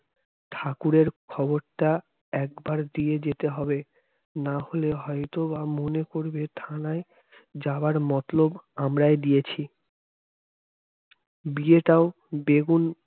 ঠাকুরের খবরটা একবার দিয়ে যেতে হবে না হলে হয়তোবা মনে করবে থানায় যাবার মতলব আমরাই দিয়েছি বিয়েটাও বেগুন